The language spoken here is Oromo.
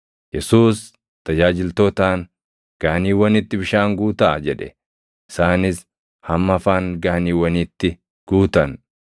Yesuus tajaajiltootaan, “Gaaniiwwanitti bishaan guutaa” jedhe; isaanis hamma afaan gaaniiwwaniitti guutan.